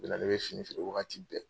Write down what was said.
O de la ne bɛ fini feere wagati bɛɛ.